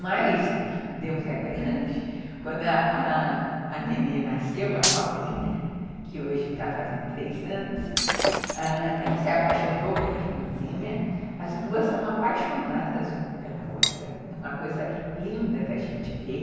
Mas, Deus é grande, quando a nenê nasceu, a Laurinha, que hoje está fazendo três anos, ela se apaixonou pela irmãzinha, as duas são apaixonadas uma pela outra, é uma coisa linda da gente ver.